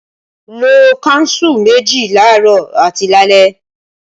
Lo kánsù méjì laarọ àti lálẹ́!